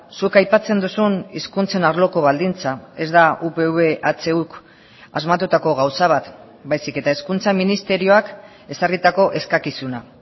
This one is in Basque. zuk aipatzen duzun hizkuntzen arloko baldintza ez da upv ehuk asmatutako gauza bat baizik eta hezkuntza ministerioak ezarritako eskakizuna